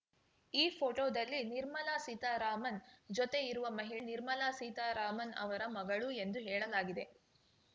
ಈ ಫೋಟೋದಲ್ಲಿ ನಿರ್ಮಲಾ ಸೀತಾರಾಮನ್‌ ಜೊತೆಇರುವ ಮಹಿಳೆ ನಿರ್ಮಲಾ ಸೀತಾರಾಮನ್‌ ಅವರ ಮಗಳು ಎಂದು ಹೇಳಲಾಗಿದೆ